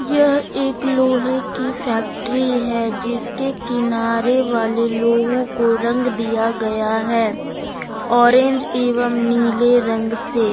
यह एक लोहे की फैक्ट्री है जिसके किनारे वाले लोहों को रंग दिया गया है ऑरेंज एवं नीले रंग से।